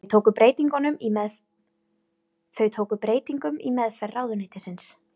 Þau tóku breytingum í meðferð ráðuneytisins